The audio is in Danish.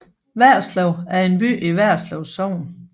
Værslev er en by i Værslev Sogn